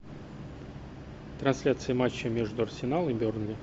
трансляция матча между арсенал и бернли